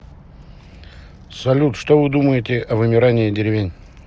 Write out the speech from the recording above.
салют что вы думаете о вымирании деревень